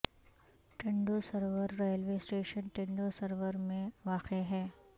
Tando Sarwar railway station Tando Sarwar میں واقع ہے